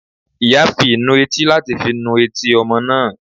Iyá fí ìnù etí latí fí nù etí ọmọ náá